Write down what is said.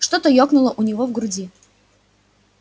что-то ёкнуло у него в груди